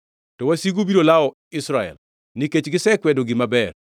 To wasigu biro lawo Israel nikech gisekwedo gima ber.